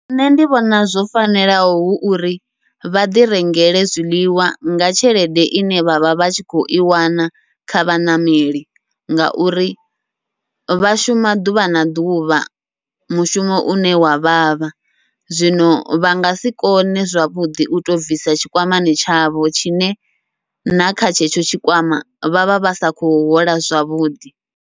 Nṋe ndi vhona zwo fanelaho hu uri vha ḓi rengele zwiḽiwa nga tshelede ine vha vha vha tshi khou i wana kha vhaṋameli, ngauri vha shuma ḓuvha na ḓuvha mushumo une wa vhavha. Zwino vha ngasi kone zwavhuḓi uto bvisa tshikwamani tshavho, tshine nakha tshetsho tshikwama vhavha vha sa khou hola zwavhuḓi.